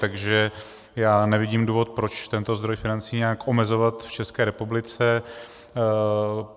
Takže já nevidím důvod, proč tento zdroj financí nějak omezovat v České republice.